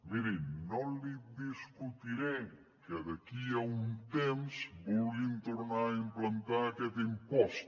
miri no li discutiré que d’aquí a un temps vulguin tornar a implantar aquest impost